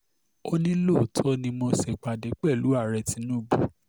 ó ní lóòótọ́ ni mo ṣèpàdé pẹ̀lú ààrẹ tinubu